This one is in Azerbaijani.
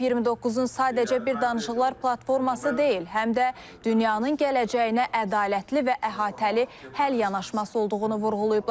COP 29-un sadəcə bir danışıqlar platforması deyil, həm də dünyanın gələcəyinə ədalətli və əhatəli həll yanaşması olduğunu vurğulayıblar.